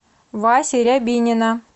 васи рябинина